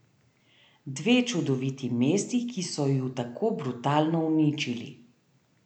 Dve čudoviti mesti, ki so ju tako brutalno uničili.